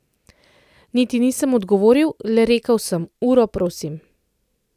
Niti nisem odgovoril, le rekel sem: "Uro, prosim.